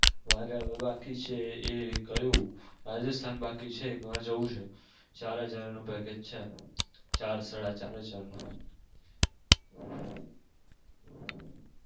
મારે હવે બાકી છે એ ક્યુ રાજસ્થાન બાકી છે એજ વાર જવું છે ચાર હજાર નું package છે ચાર સાડા ચાર હજાર નું.